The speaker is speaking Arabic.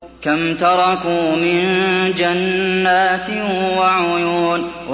كَمْ تَرَكُوا مِن جَنَّاتٍ وَعُيُونٍ